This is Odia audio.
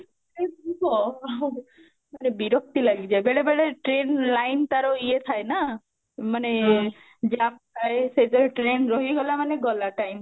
ଆଃ ମାନେ ବିରକ୍ତି ଲାଗି ଯାଏ ବେଳେ ବେଳେ train line ତାର ୟେ ଥାଏ ନା ମାନେ jam ଥାଏ ସେ ଯାଏଁ tarin ରହିଗଲା ମାନେ ଗଲା time